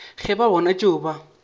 ge ba bona tšeo ba